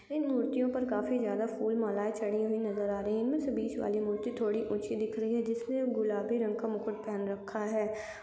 इन मूर्तियों पर काफ़ी ज्यादा फूल मालाये चढ़ी हुई नज़र आ रही है इनमे से बीच वाली मूर्ति थोड़ी ऊंची दिख रही हैं जिसमें गुलाबी रंग का मुकुट पहन रखा है ।